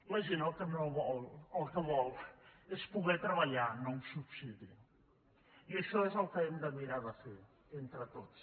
la gent el que vol és poder treballar no un subsidi i això és el que hem de mirar de fer entre tots